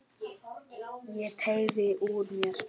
Ég teygði úr mér.